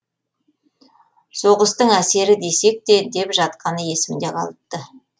соғыстың әсері десек те деп жатқаны есімде қалыпты